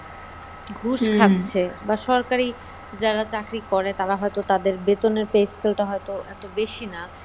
ঘুষ খাচ্ছে বা সরকারি যারা চাকরি করে তারা হয়তো তাদের বেতনের pay-scale টা হয়তো এত বেশি না